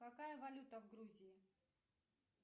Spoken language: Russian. какая валюта в грузии